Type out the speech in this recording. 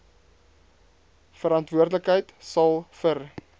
verantwoordelikheid sal vir